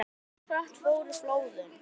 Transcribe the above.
En hversu hratt fóru flóðin?